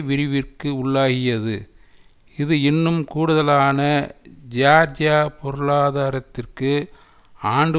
விரிவிற்கு உள்ளாகியது இது இன்னும் கூடுதலான ஜியார்ஜிய பொருளாதாரத்திற்கு ஆண்டு